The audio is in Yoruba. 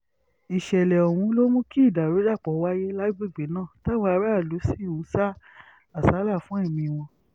ìṣẹ̀lẹ̀ ọ̀hún ló mú kí ìdàrúdàpọ̀ wáyé lágbègbè náà táwọn aráàlú sì ń sá àsálà fún ẹ̀mí wọn